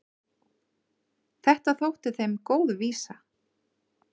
Þetta þótti þeim góð vísa.